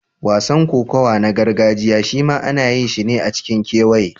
Wasan kokawa na gargajiya shima ana yinsa ne a cikin kewaye.